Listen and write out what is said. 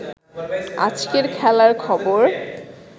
আজকের খেলার খবর